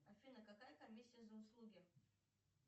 афина какая комиссия за услуги